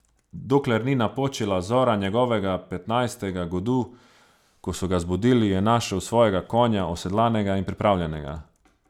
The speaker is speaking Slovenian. Dokler ni napočila zora njegovega petnajstega godu, ko so ga zbudili in je našel svojega konja osedlanega in pripravljenega.